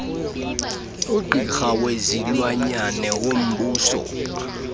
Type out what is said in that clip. ugqirha wezilwanyana wombuso